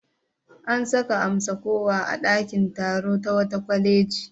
An saka amsa-kuwwa a ɗakin taro ta wata kwaleji.